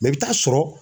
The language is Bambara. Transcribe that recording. Mɛ i bɛ taa sɔrɔ